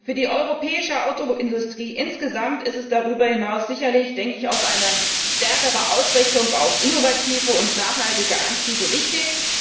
Für die europäische Autoindustrie insgesamt ist darüber hinaus sicherlich, denke ich, auch eine stärkere Ausrichtung auf innovative und nachhaltige Antriebe wichtig.